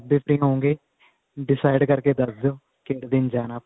ਜਿਸ ਦਿਨ free ਹੋਵੋਂਗੇ decide ਕਰਕੇ ਦੱਸ ਦਿਓ ਜਿਹੜੇ ਦਿਨ ਜਾਣਾ